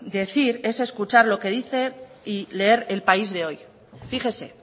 decir es escuchar lo que dice y leer el país de hoy fíjese